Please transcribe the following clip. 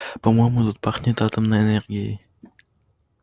по-моему тут пахнет атомной энергией